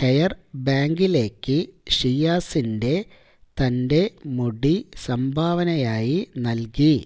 hair ബാങ്കിലേക്ക് ഷിയാസിന്റെ തന്റെ മുടി സംഭാവനയായി നൽകി